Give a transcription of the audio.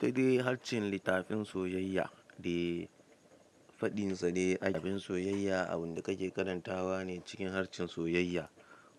Kada yi harshen litafin soyayya, da faɗinsa dai a cikin soyayya, abin da kake karantawa ne cikin harshen soyayya.